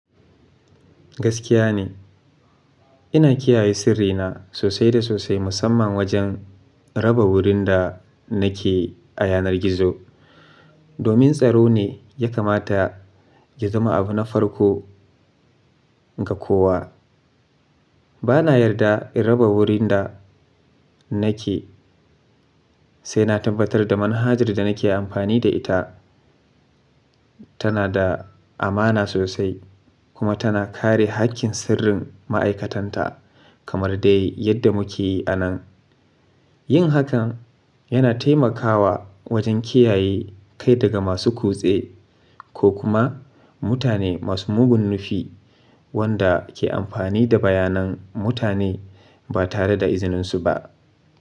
Gaskiya ne, ina kiyaye sirrina sosai da sosai musamman wajen raba wurin da nake a yanar gizo. Domin tsaro ne ya kamata ya zama abu na farko ga kowa. Ba na yarda in raba wurin da nake sai na tabbatar da manhajar da nake amfani da ita tana da amana sosai kuma tana kare haƙƙin sirrin ma'aikatanta kamar dai yadda muke yi a nan. Yin hakan yana taimakawa wajen kiyaye kai daga masu kutse ko kuma mutane masu mugun nufi wanda ke amfani da bayanan mutane ba tare da izininsu ba.